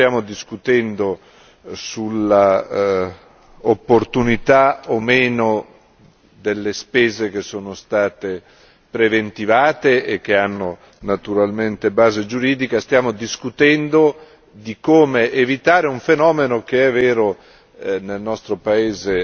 Qui non stiamo discutendo sull'opportunità o meno delle spese che sono state preventivate, e che hanno naturalmente base giuridica, stiamo discutendo di come evitare un fenomeno che è vero nel nostro paese